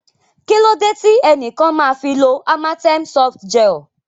Kí ló dé tí ẹnìkan máa fi lo Amatem Softgel?